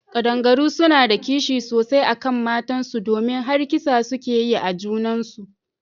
Kadangaru suna da kishi sosai akan matan su domin har kisa suke yi a junan su.